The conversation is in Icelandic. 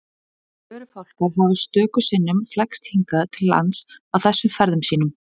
Förufálkar hafa stöku sinnum flækst hingað til lands á þessum ferðum sínum.